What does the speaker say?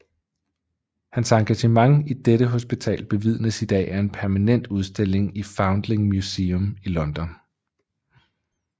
Hans engagement i dette hospital bevidnes i dag af en permanent udstilling i Foundling Museum i London